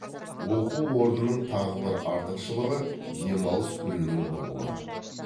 оқу орнының тағы бір артықшылығы демалыс күнінің болуы